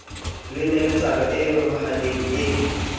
le neletsano e momahaneng e